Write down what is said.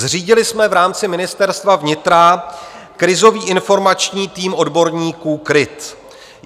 Zřídili jsme v rámci Ministerstva vnitra krizový informační tým odborníků KrIT (?).